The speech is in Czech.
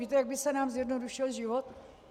Víte, jak by se nám zjednodušil život?